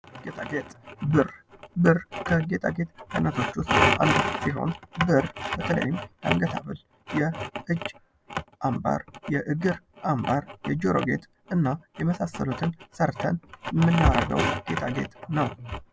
ጌጣጌጥ ብር! ብር ከጌጣጌጥ መስራያዎች ዉስጥ አንዱ ሲሆን የተለያዩ የአንገት ሀብል፣ የእጅ አንባር፣ የእግር አንባር፣ የጆሮ ጌጥ እና የመሳሰሉትን ሰርተን የምናደርገዉ ጌጣጌጥ ነዉ።